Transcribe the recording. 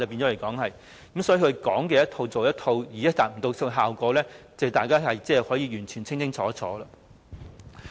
因此，他說一套，做一套，已無法達到效果，這是大家完全可以清清楚楚看到的。